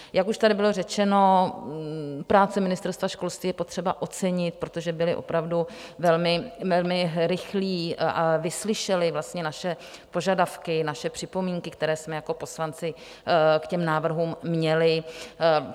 Jak už tady bylo řečeno, práci Ministerstva školství je potřeba ocenit, protože byli opravdu velmi rychlí a vyslyšeli naše požadavky, naše připomínky, které jsme jako poslanci k těm návrhům měli.